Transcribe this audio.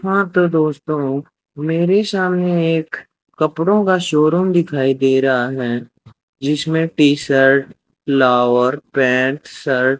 हां तो दोस्तों मेरे सामने एक कपड़ों का शोरूम दिखाई दे रहा है जिसमें T shirt lower pant shirt --